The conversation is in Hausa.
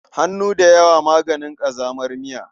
Hannu da yawa maganin ƙazamar miya.